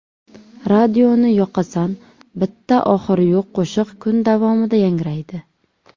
Radioni yoqasan bitta oxiri yo‘q qo‘shiq kun davomida yangraydi!